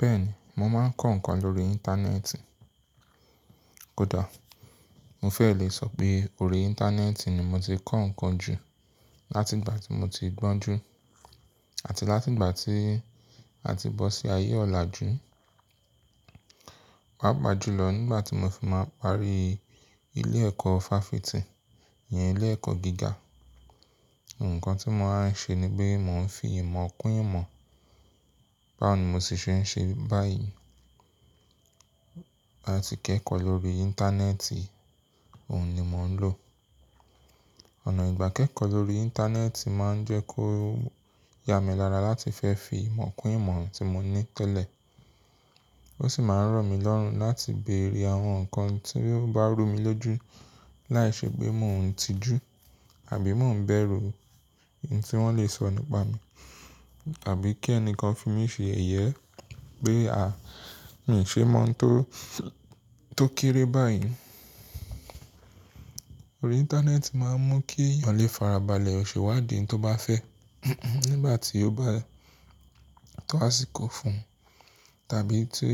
Bẹ́ẹ̀ni, mo máa ń kọ́ ǹkan lórí Íńtánẹ́ẹ̀tì. Kódà mo fẹ́ lè sọ pé orí Íńtánẹ́ẹ̀tì ni mo ti kọ́ ǹkan jù láti ìgbà tí mo ti gbọ́n jù àti láti ìgbà tí a ti bọ́ sí ayé ọ̀la jù. Wàá bàjúlọ̀ nígbà tí mo fi máa parí ilé ẹ̀kọ́ fáfitì, ìyẹn ilé ẹ̀kọ́ gíga. Ǹkan tí mo máa ń ṣe ni pé mò ń fi ìmọ̀ kún ìmọ̀. Báwo ni mo sì ṣe ń ṣe báyìí? Àti kẹ́kọ̀ọ́ lórí Íńtánẹ́ẹ̀tì, òun ni mò ń lò. Ọ̀nà ìgbà kẹ́kọ̀ọ́ lórí Íńtánẹ́ẹ̀tì máa ń jẹ́ kó ya mi lára láti fẹ́ fi ìmọ̀ kún ìmọ̀ tí mò ń ní tẹ́lẹ̀. Ó sì máa ń rọ mí lọ́rùn láti bèrè àwọn ǹkan tí ó bá rú mi lójú láìṣẹ́ pé mò ń tijú àbí mò ń bẹ̀rù ohun tí wọ́n lè sọ nípa mi. Àbí kí ẹnìkan fi mí ṣe yẹyẹ pé, à, mí ò ṣe mọ̀ n tó, tó kéré báyìí. Orí Íńtánẹ́ẹ̀tì máa ń mú kí ènìyàn lè farabalẹ̀ ṣèwádìí n tó bá fẹ́ nígbà tí ó bá to àsìkò fún un tàbí tí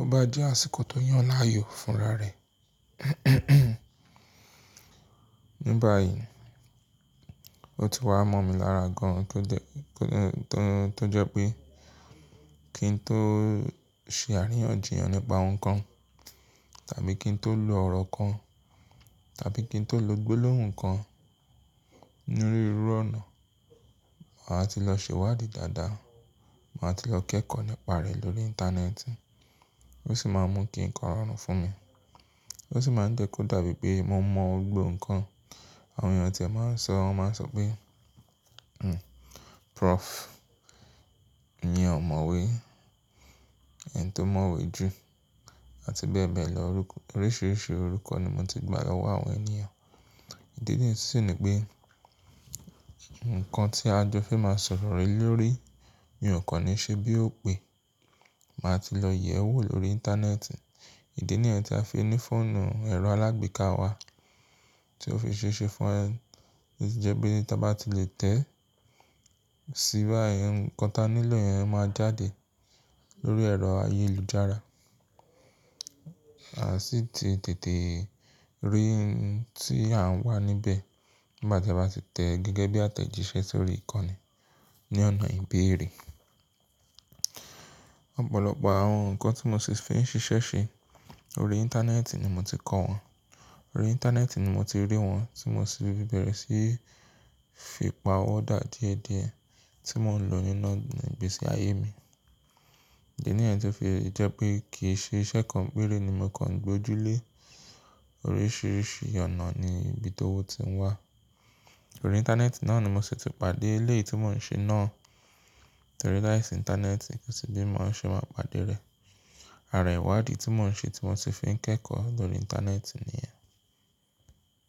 ó bá jẹ́ àsìkò tó yàn láàyò fúnra rẹ̀. Ní báyìí, ó ti wá mọ́ mi lára gan-an pé ó jẹ́, pé ó jẹ́, tó jẹ́ pé kí n tó ṣe àríyànjiyàn nípa ohun kan tàbí kí n tó lo ọ̀rọ̀ kan tàbí kí n tó lo gbólóhùn kan nínú rírú ọ̀nà, màá ti lọ sèwádìí dáadáa, màá ti lọ kẹ́kọ̀ọ́ nípa rẹ̀ lórí Íńtánẹ́ẹ̀tì. Ó sì máa ń mú kí ǹkan rọrùn fún mi. Ó sì máa ń jẹ́ kó dàbí pé mo mọ̀ gbogbo ǹkan. Àwọn ènìyàn tí a máa ń sọ, wọ́n máa ń sọ pé, "Hmm, Prof." iyẹn ọ̀mọ̀wé ni, ẹni tó mọ̀wé jù àti bẹ́ẹ̀ bẹ́ẹ̀ lọ. Orúkọ, oríṣiríṣi orúkọ ni mo ti gbà lọ́wọ́ àwọn ènìyàn. Ìdí nìyí sì ní pé ǹkan tí a jọ fe máa sọ̀rọ̀ le lórí, mi ò kọ́ni ṣe bí ó pé. Màá ti lọ yẹ̀ ẹ́ wò lórí Íńtánẹ́ẹ̀tì. Ìdí nìyẹn tí a fi ní fọ́ọ̀nù ẹ̀rọ alágbèéká wa tí ó fi ṣe ṣe fún ẹ ní jẹ́ pé tí a bá ti lè tẹ̀ síbẹ̀, ǹkan ta nílò yẹn máa jáde lórí ẹ̀rọ ayélujára. A sì ti tètè rí n tí à ń wà níbẹ̀ nígbà tí a bá ti tẹ̀ gẹ́gẹ́ bí àtẹ̀jíṣẹ́ sórí ìkọ́ni ní ọ̀nà ìbéèrè. Ọ̀pọ̀lọpọ̀ àwọn ǹkan tí mo sì fi ń ṣiṣẹ́ ṣe, orí Íńtánẹ́ẹ̀tì ni mo ti kọ́ wọn. Orí Íńtánẹ́ẹ̀tì ni mo ti rí wọn tí mo sì bẹ̀rẹ̀ sí fi pa ọ́ dà díẹ̀díẹ̀ tí mò ń lo inú gbèsè ayé mi. Ìdí nìyẹn tí jẹ́ pé kì í ṣe iṣẹ́ kan péré ni mo kọ́ ń gbójú lé. Oríṣiríṣi ọ̀nà ni ibi tó wó ti ń wà. Orí Íńtánẹ́ẹ̀tì náà ni mo sì ti pàdé ilé tí mò ń ṣe náà torí láìsí Íńtánẹ́ẹ̀tì kò sí bí mo ṣe máa pàdé rẹ̀. Àrà ìwádìí tí mò ń ṣe tí mo sì fi ń kẹ́kọ̀ọ́ lórí Íńtánẹ́ẹ̀tì nìyẹn.